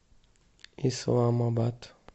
исламабад